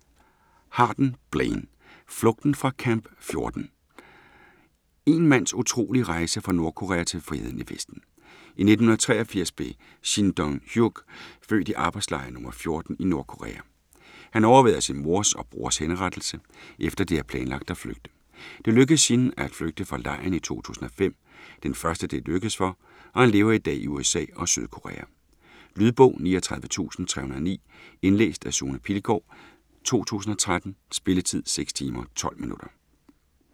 Harden, Blaine: Flugten fra Camp 14 Én mands utrolige rejse fra Nordkorea til friheden i Vesten. I 1983 blev Shin Dong-hyuk født i arbejdslejr nr. 14 i Nordkorea. Han overværede sin mors og brors henrettelse, efter de havde planlagt at flygte. Det lykkedes Shin at flygte fra lejren i 2005 - den første det er lykkedes for - og han lever i dag i USA og Sydkorea. Lydbog 39309 Indlæst af Sune Pilgaard, 2013. Spilletid: 6 timer, 12 minutter.